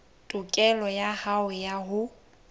tokelo ya hao ya ho